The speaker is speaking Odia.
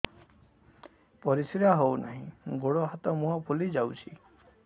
ପରିସ୍ରା ହଉ ନାହିଁ ଗୋଡ଼ ହାତ ମୁହଁ ଫୁଲି ଯାଉଛି